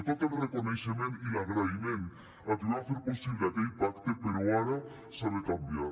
tot el reconeixement i l’agraïment a qui va fer possible aquell pacte però ara s’ha de canviar